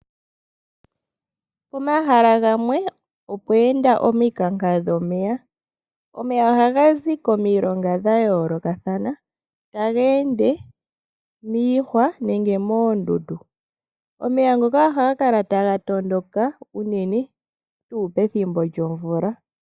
Pomahala gamwe opweenda omikanka dhomeya. Omeya ohaga zi komilonga dha yoolokathana, taga ende miihwa nenge moondundu. Omeya ngoka ohaga kala taga tondoka unene pethimbo lyomvula.